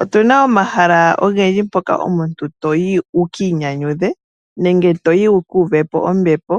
Otuna omahala ogendji mpoka omuntu toyi wuki inyanyudhe nenge wukuuve po ombepo.